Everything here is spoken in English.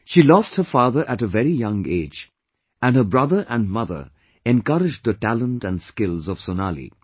She lost her father at a very young age, and her brother and mother encouraged the talent and skills of Sonali